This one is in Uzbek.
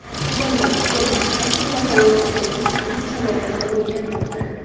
Hozirda hukumat akula halokatining aniq sababini o‘rganmoqda.